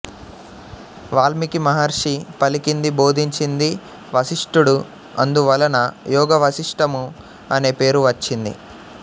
వాల్మీకిమహర్షి పలికింది బోధించింది వశిస్టుడుఅందు వలన యోగవాశిష్టము అనే పేరు వచ్చింది